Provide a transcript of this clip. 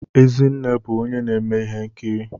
Ezinne bụ onye na-eme ihe nkiri